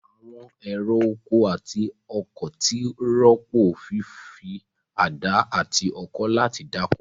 Àwọn ẹ̀rọ oko àti ọkọ̀ ti rọ́pò fífi àdá àti ọkọ́ láti dáko.